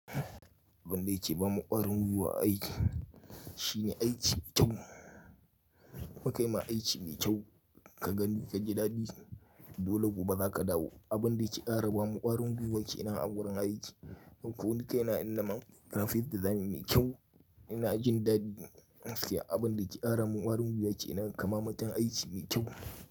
Abin da yake ba mu ƙwarin gwiwa a aiki shine aiki mai kyau. Mu kai ma aiki mai kyau ka gani ka ji dadi, dole gobe za ka dawo. Abin da yake ƙara ba mu ƙwarin gwiwa ke nan a wurin aiki. Don ko ni kai na in nama, graphic design mai kyau ina jin daɗi gaskiya. Abin da yake ƙara mun ƙwarin gwiwa ke nan, kama mutum aiki mai kyau.